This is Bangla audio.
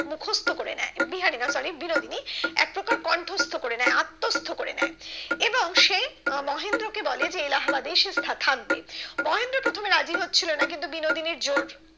মুখস্ত করে নেয় বিহারি না sorry বিনোদিনী একপ্রকার কন্ঠস্থ করে নেয় করবে নেয় এবং সে আহ মহেন্দ্র কে বলে যে এলাহাবাদে সে থা থাকবে মহেন্দ্র প্রথমে রাজি হচ্ছিলো না কিন্তু বিনোদিনীর জোর